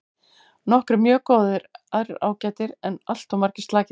Nokkrir mjög góðir aðrir ágætir en alltof margir slakir.